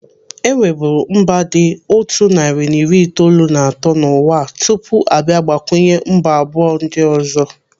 Enweburu mba dị otu narị na iri itoolu na atọ n'ụwa a tupu abịa gbakwunye mba abụọ ndị ọzọ.